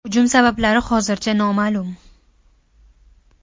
Hujum sabablari hozircha noma’lum.